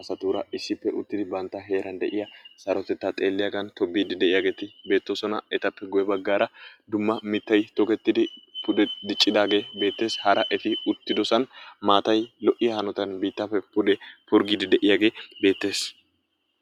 asaara issippe uttida bantta heeran de'iya sarotettaa xeeliyaagan tobbiidi de'iyageeti beettoosona. Etappe guye baggaara dumma mittay tokkettidi pude diccidaagee bettees, hara eti uttiddosan maatay lo'iya hanotan biittaappe pude purggidi de'iyagee beettees.